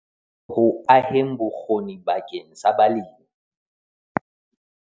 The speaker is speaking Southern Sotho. Ho aheng bokgoni bakeng sa balemi